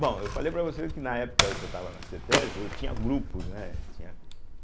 Bom, eu falei para você que na época que eu estava na cêtésbe, eu tinha grupos, né? tinha